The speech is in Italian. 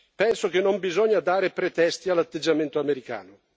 Penso che non bisogna dare pretesti all'atteggiamento americano.